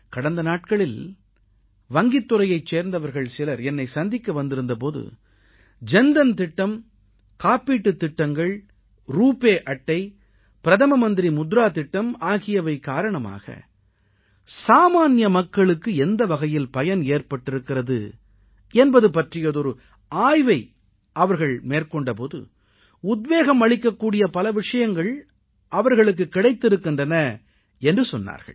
கடந்த நாட்களில் வங்கித் துறையைச் சேர்ந்தவர்கள் சிலர் என்னை சந்திக்க வந்திருந்த போது ஜன் தன் திட்டம் காப்பீட்டுத் திட்டங்கள் ரூபே அட்டை பிரதம மந்திரி முத்ரா திட்டம் ஆகியவை காரணமாக சாமான்ய மக்களுக்கு எந்த வகையில் பயன் ஏற்பட்டிருக்கிறது என்பது பற்றியதொரு ஆய்வை அவர்கள் மேற்கொண்ட போது உத்வேகம் அளிக்கக் கூடிய பல விஷயங்கள் அவர்களுக்குக் கிடைத்திருக்கின்றன என்று சொன்னார்கள்